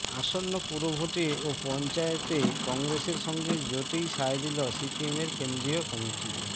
আসন্ন পুরভোট ও পঞ্চায়েতে কংগ্রেসের সঙ্গে জোটেই সায় দিল সিপিএমের কেন্দ্রীয় কমিটি